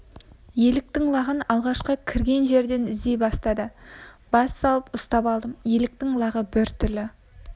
еліктің лағын алғашқы кірген жерден іздей бастады бас салып ұстап алдым еліктің лағы бір түрлі